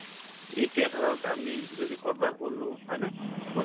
এতিয়া ধৰক আমি যদি কৰোবাত গলো হয় নে